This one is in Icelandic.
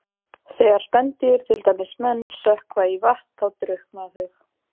Þegar spendýr, til dæmis menn, sökkva í vatn þá drukkna þau.